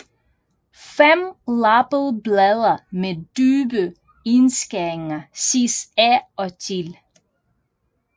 Femlappede blade med dybe indskæringer ses af og til